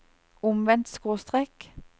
omvendt skråstrek